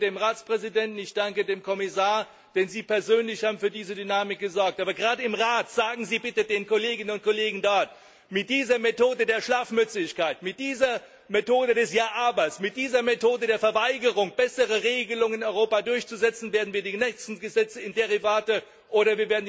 Ich danke dem Ratspräsidenten, ich danke dem Kommissar, denn Sie persönlich haben für diese Dynamik gesorgt. Sagen Sie bitte den Kolleginnen und Kollegen im Rat Mit dieser Methode der Schlafmützigkeit, mit dieser Methode des Ja, aber, mit dieser Methode der Verweigerung, bessere Regelungen in Europa durchzusetzen, werden wir die nächsten Gesetze zu Derivaten oder